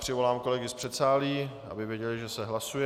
Přivolám kolegy z předsálí, aby věděli, že se hlasuje.